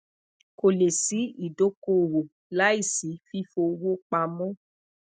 ko le si idokoowo laisi fifiowopamọ